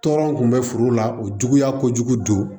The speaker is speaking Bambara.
Tɔɔrɔ kun bɛ furu la o juguya kojugu don